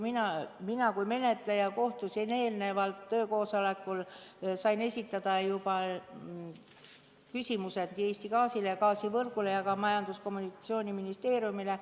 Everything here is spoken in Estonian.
Mina kui menetleja osalesin eelnevalt töökoosolekul ning sain seal esitada küsimusi Eesti Gaasile, Gaasivõrgule ja ka Majandus- ja Kommunikatsiooniministeeriumile.